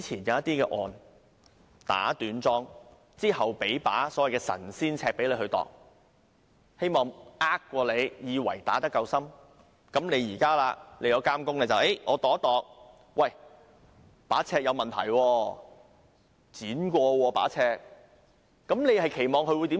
現在監工去量度，發現把尺有問題，被剪短過。你期望他會如何做？